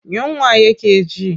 Yunwa yake ji.